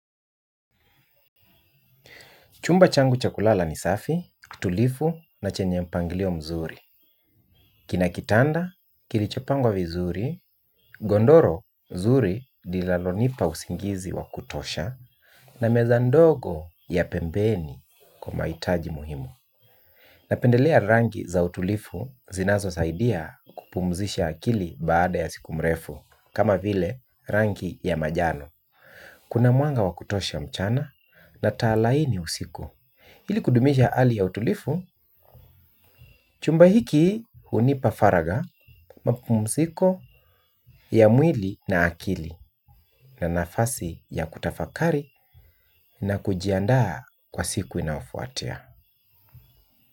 Chumba changu cha kulala ni safi, kitulivu na chenye mpangilio mzuri. Kina kitanda, kilichopangwa vizuri, godoro zuri linalonipa usingizi wa kutosha, na meza ndogo ya pembeni kwa mahitaji muhimu. Napendelea rangi za utulifu zinazo saidia kupumzisha akili baada ya siku mrefu, kama vile rangi ya majano. Kuna mwanga wa kutosha mchana na taa laini usiku. Ili kudumisha hali ya utulivu, chumba hiki hunipa faraga, mapumuziko ya mwili na akili na nafasi ya kutafakari na kujiandaa kwa siku inayofuatia.